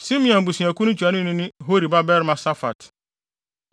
Simeon abusuakuw no ntuanoni ne Hori babarima Safat;